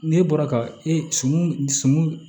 N'e bɔra ka e sɔmi sun